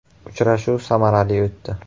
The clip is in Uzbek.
“Uchrashuv samarali o‘tdi.